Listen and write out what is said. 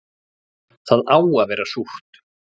Það á að vera súrt